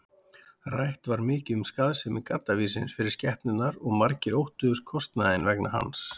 Rætt var mikið um skaðsemi gaddavírsins fyrir skepnurnar og margir óttuðust kostnaðinn vegna hans.